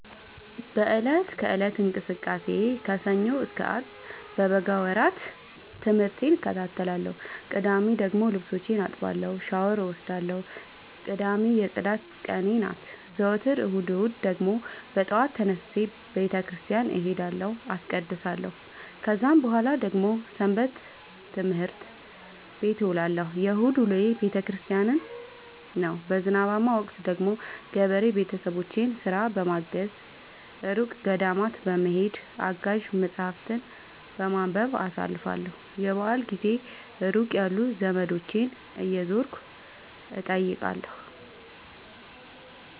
በእለት ከእለት እንቅስቃሴዬ ከሰኞ እስከ አርብ በበጋ ወራት ትምህርቴን እከታተላለሁ። ቅዳሜ ደግሞ ልብሶቼን አጥባለሁ ሻውር እወስዳለሁ ቅዳሜ የፅዳት ቀኔ ናት። ዘወትር እሁድ እሁድ ደግሞ በጠዋት ተነስቼ በተክርስቲያን እሄዳለሁ አስቀድሳሁ። ከዛ በኃላ ደግሞ ሰበትምህርት ቤት እውላለሁ የእሁድ ውሎዬ ቤተክርስቲያን ነው። በዝናባማ ወቅት ደግሞ ገበሬ ቤተሰቦቼን በስራ በማገ፤ እሩቅ ገዳማት በመሄድ፤ አጋዥ መፀሀፍትን በማንበብ አሳልፍለሁ። የበአል ጊዜ ሩቅ ያሉ ዘመዶቼን እየዞርኩ እጠይቃለሁ።